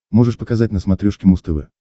можешь показать на смотрешке муз тв